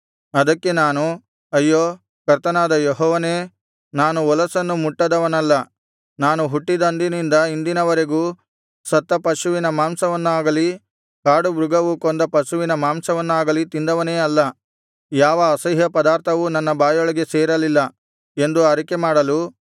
ಅದಕ್ಕೆ ನಾನು ಅಯ್ಯೋ ಕರ್ತನಾದ ಯೆಹೋವನೇ ನಾನು ಹೊಲಸನ್ನು ಮುಟ್ಟಿದವನಲ್ಲ ನಾನು ಹುಟ್ಟಿದಂದಿನಿಂದ ಇಂದಿನವರೆಗೂ ಸತ್ತ ಪಶುವಿನ ಮಾಂಸವನ್ನಾಗಲಿ ಕಾಡುಮೃಗವು ಕೊಂದ ಪಶುವಿನ ಮಾಂಸವನ್ನಾಗಲಿ ತಿಂದವನೇ ಅಲ್ಲ ಯಾವ ಅಸಹ್ಯಪದಾರ್ಥವೂ ನನ್ನ ಬಾಯೊಳಗೆ ಸೇರಲಿಲ್ಲ ಎಂದು ಅರಿಕೆಮಾಡಲು